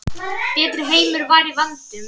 Betri heimur var í vændum.